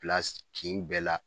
Bila s kin bɛɛ la